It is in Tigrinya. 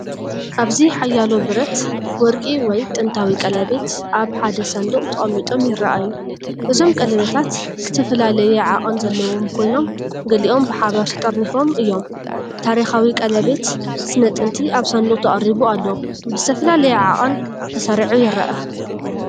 ኣብዚ ሓያሎ ብረት፡ ወርቂ ወይ ጥንታዊ ቀለቤት ኣብ ሓደ ሳንዱቕ ተቐሚጦም ይረኣዩ። እዞም ቀለቤታት ዝተፈላለየ ዓቐን ዘለዎም ኮይኖም፡ ገሊኦም ብሓባር ተጠርኒፎም እዮም። ታሪኻዊ ቀለቤት ስነ-ጥንቲ ኣብ ሳንዱቕ ተቐሪቡ ኣሎ፣ ብዝተፈላለየ ዓቐን ተሰሪዑ ይረአ።